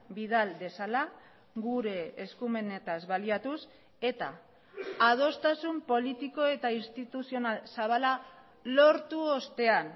bidal dezala gure eskumenetaz baliatuz eta adostasun politiko eta instituzional zabala lortu ostean